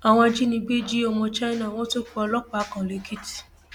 àwọn ajínigbé jí ọmọ china wọn tún pa ọlọpàá kan lẹkìtì